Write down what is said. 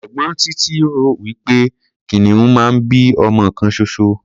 Ẹ̀gbọ́n Títí rò wí pé kìnìún máa ń bí ọmọ kan ṣoṣo.